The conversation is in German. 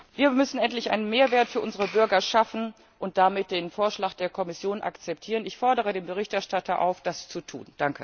Wir müssen endlich einen Mehrwert für unsere Bürger schaffen und damit den Vorschlag der Kommission akzeptieren! Ich fordere den Berichterstatter auf, das zu tun.